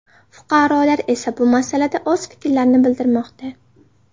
Fuqarolar esa bu masalada o‘z fikrlarini bildirmoqda .